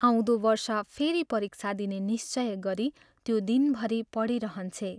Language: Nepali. आउँदो वर्ष फेरि परीक्षा दिने निश्चय गरी त्यो दिनभरि पढिरहन्छे।